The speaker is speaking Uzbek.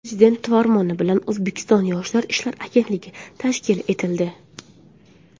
Prezident farmoni bilan O‘zbekiston Yoshlar ishlari agentligi tashkil etildi.